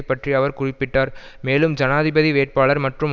பற்றி அவர் குறிப்பிட்டார் மேலும் ஜனாதிபதி வேட்பாளர் மற்றும்